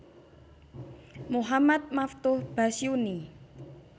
Muhammad Maftuh Basyuni